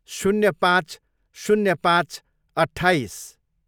शून्य पाँच. शून्य पाँच, अट्ठाइस